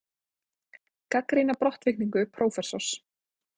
Gagnrýna brottvikningu prófessors